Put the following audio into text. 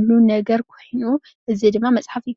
እንረኽበሉ መፅሓፍ እዩ።